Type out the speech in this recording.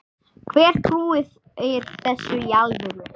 Hver trúir þessu í alvöru?